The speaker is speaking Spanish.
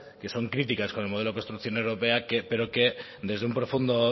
que son críticas con el modelo de construcción europea pero que desde un profundo